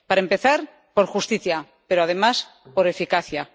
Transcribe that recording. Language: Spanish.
Para empezar, por justicia pero, además, por eficacia.